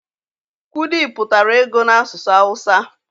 kwụdi pụtara ego n'asụsụ awụsa.